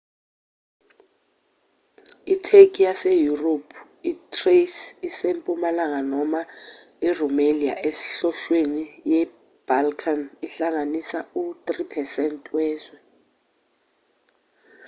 itheki yaseyurophu i-thrace esempumalanga noma i-rumelia esenhlonhlweni ye-balkan ihlanganisa u-3% wezwe